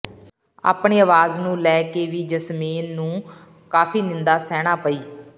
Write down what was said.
ਆਪਣੀ ਆਵਾਜ਼ ਨੂੰ ਲੈ ਕੇ ਵੀ ਜੈਸਮੀਨ ਨੂੰ ਕਾਫੀ ਨਿੰਦਾ ਸਹਿਣਾ ਪਈ